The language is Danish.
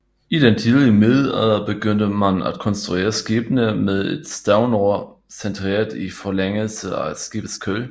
I den tidlige middelalder begyndte man at konstruere skibene med et stavnror centreret i forlængelse af skibets køl